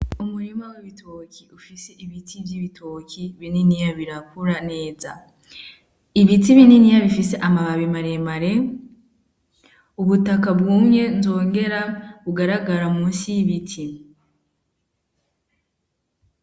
Umurima w'ibitoki ufise ibiti vy'ibitoki bininiya birakura neza ibiti bininiya bifise amababi maremare ubutaka bwumye nzongera bugaragara musi y'ibiti.